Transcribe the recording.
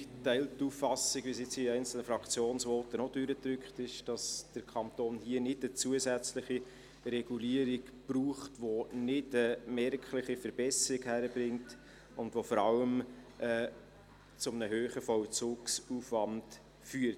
Zudem teilt die Regierung die Auffassung, die in einzelnen Fraktionsvoten auch durchgedrückt hat, wonach der Kanton hier nicht eine zusätzliche Regulierung braucht, die nicht eine merkliche Verbesserung bringt und die vor allem zu einem hohen Vollzugsaufwand führt.